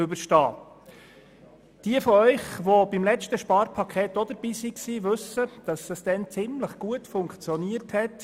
Diejenigen unter Ihnen, die auch schon beim letzten Sparpaket dabei waren, wissen, dass dies damals recht gut funktioniert hat: